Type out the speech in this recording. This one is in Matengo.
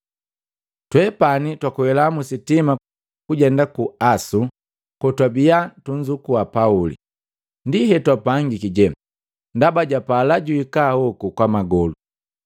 Twepani twakwela musitima kujenda ku Asu kotwabia tunzukua Pauli. Ndi hetwapangiki je, ndaba japala juhikahoku kwa magolu.